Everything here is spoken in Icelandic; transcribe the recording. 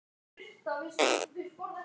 úr hverju er skýjahæð mæld